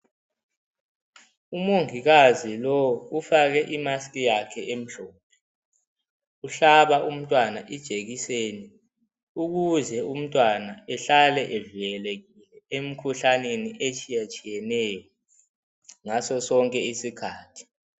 Umongikazi lo ufake imaski yakhe emhlophe, uhlaba umntwana ijekiseni ukuze umntwana ehlale evikelekile emkhuhlaneni etshiyatshiyeneyo ngaso sonke isikhathi.